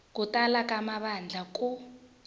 ku tala ka mavandla ku